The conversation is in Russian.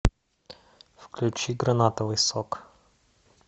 включи гранатовый сок